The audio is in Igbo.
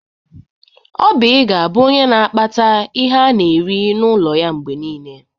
Oby ga-abụ onye n'akpata ihe ana eri n'ụlọ ya mgbe niile.